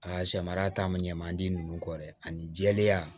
A samara ta ma ɲɛmandi nunnu kɔ dɛ ani jɛlenya